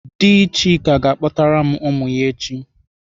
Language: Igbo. Dị Chika ga-akpọtara m ụmụ ya echi.